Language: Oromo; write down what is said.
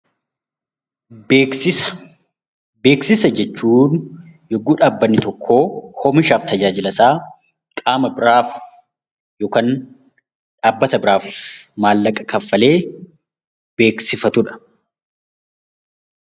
Beeksisa Beeksisa jechuun yogguu dhaabbanni tokko oomishaaf tajaajila isaa qaama biraaf yookaan dhaabbata biraaf maallaqa kaffalee beeksifatu dha.